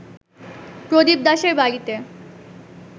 প্রদীপ দাশের বাড়িতে